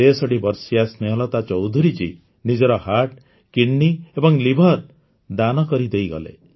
୬୩ ବର୍ଷୀୟା ସ୍ନେହଲତା ଚୌଧୁରୀଜୀ ନିଜର ହର୍ଟ କିଡନି ଏବଂ ଲିଭର ଦାନ କରିଦେଇଗଲେ